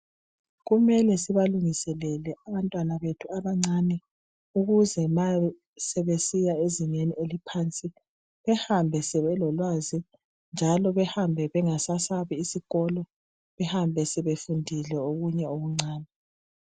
kumele sibalungiselele abantwana bethu abancane ukuze ma sebesiya ezingeni eliphansi behambe sebelolwazi njalo behambe bengasayesabi isikolo behambe sebefundile okunye okuncane